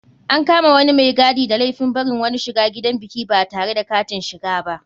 An kama wani mai gadi da laifin barin wani shiga gidan biki batare da katin shiga ba.